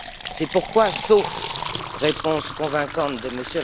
C'est pourquoi, sauf réponse convaincante de M.